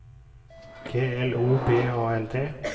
G L O B A L T